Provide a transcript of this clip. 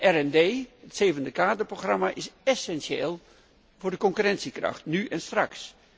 En OO, het zevende kaderprogramma, is essentieel voor de concurrentiekracht, nu en straks.